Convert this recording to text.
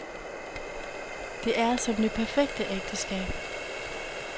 Det er som det perfekte ægteskab.